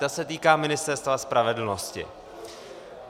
Ta se týká Ministerstva spravedlnosti.